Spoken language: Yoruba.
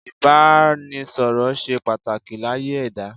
Ìbánisọ̀rọ̀ ṣe pàtàkì láyé ẹ̀dá.